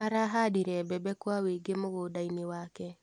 Arahandire mbembe kwa wĩingĩ mũgũndainĩ wake.